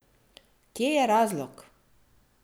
Kje je razlog?